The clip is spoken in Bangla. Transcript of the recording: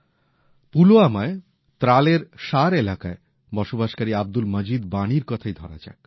পুলওয়ামায় ত্রালের শার এলাকায় বসবাসকারী আব্দুল মজিদ ওয়ানীর কথাই ধরা যাক